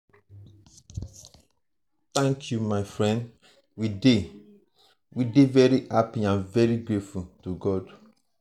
thank you my friend we dey we dey very happy and grateful to god.